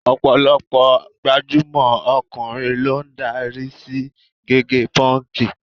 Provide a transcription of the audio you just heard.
Ọ̀pọ̀lọpọ̀ gbajúmọ̀ ọkùnrin ló ń darí sí gígẹ pọ́ǹkì.